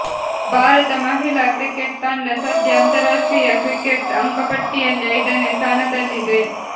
ಭಾರತ ಮಹಿಳಾ ಕ್ರಿಕೆಟ್ ತಂಡ ಸಧ್ಯ ಅಂತರಾಷ್ಟ್ರೀಯ ಕ್ರಿಕೆಟ್ ಅಂಕಪಟ್ಟಿಯಲ್ಲಿ ಐದನೇ ಸ್ಥಾನದಲ್ಲಿದೆ